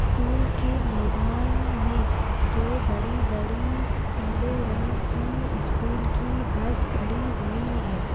School के मैदान में दो बड़ी बड़ी पीले रंग की स्कूल की बस खड़ी हुई है।